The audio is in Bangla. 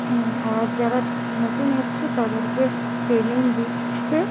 উ আর যারা নতুন এসছে তাদেরকে ট্রেনিং দিচ্ছে-এ।